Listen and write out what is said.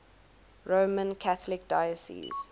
roman catholic diocese